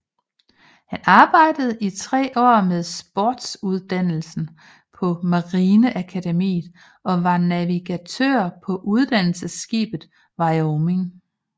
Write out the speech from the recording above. Han arbejdede i tre år med sportsuddannelsen på marineakademiet og var navigatør på uddannelsesskibet Wyoming